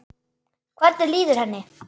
Hvernig líður henni?